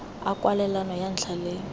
a kwalelano ya ntlha le